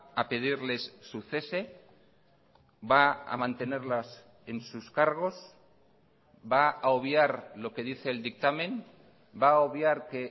a pedirles su cese va a mantenerlas en sus cargos va a obviar lo que dice el dictamen va a obviar que